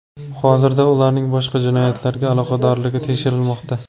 Hozirda ularning boshqa jinoyatlarga aloqadorligi tekshirilmoqda.